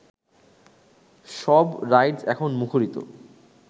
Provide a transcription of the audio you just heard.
সব রাইডস এখন মুখরিত